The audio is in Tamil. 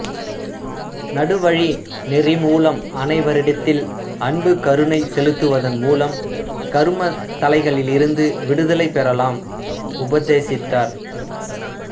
நடு வழி நெறி மூலம் அனைவரிடத்தில் அன்பு கருணை செலுத்துவதன் மூலம் கருமத் தளைகளிலிருந்து விடுதலை பெறலாம் உபதேசித்தார்